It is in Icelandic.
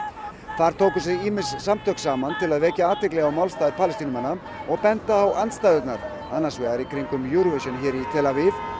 þar tóku sig ýmis samtök saman til að vekja athygli á málstað Palestínumanna og benda á andstæðurnar annars vegar í kringum Eurovision hér í tel Aviv